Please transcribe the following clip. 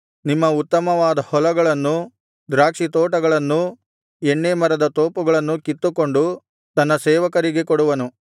ನಿಮ್ಮ ಉತ್ತಮವಾದ ಹೊಲಗಳನ್ನೂ ದ್ರಾಕ್ಷಿತೋಟಗಳನ್ನೂ ಎಣ್ಣೇ ಮರದ ತೋಪುಗಳನ್ನೂ ಕಿತ್ತುಕೊಂಡು ತನ್ನ ಸೇವಕರಿಗೆ ಕೊಡುವನು